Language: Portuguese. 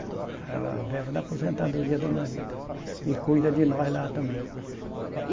Ela vive da aposentadoria do marido e cuida de nós lá também.